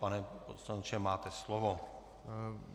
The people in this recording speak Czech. Pane poslanče, máte slovo.